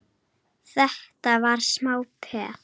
Þetta var smá peð!